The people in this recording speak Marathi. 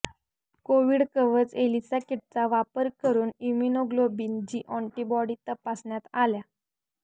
कोविड कवच एलिसा किटचा वापर करून इम्युनोग्लोबिन जी ऑण्टिबॉडी तपासण्यात आल्या